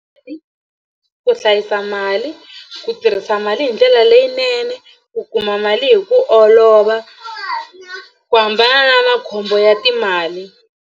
Ku hlayisa mali ku tirhisa mali hi ndlela leyinene ku kuma mali hi ku olova ku hambana na makhombo ya timali.